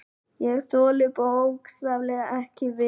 Ég þoli bókstaflega ekki við.